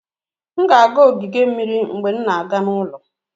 M ga-aga ogige mmiri mgbe m na-aga n'ụlọ